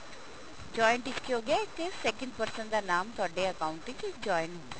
joint ਵਿੱਚ ਕੀ ਹੋਗਿਆ ਕਿ second person ਦਾ ਨਾਮ ਤੁਹਾਡੇ account ਵਿੱਚ joint ਹੁੰਦਾ